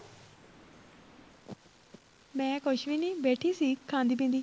ਮੈਂ ਕੁੱਛ ਵੀ ਨਹੀਂ ਬੈਠੀ ਸੀ ਖਾਂਦੀ ਪੀਂਦੀ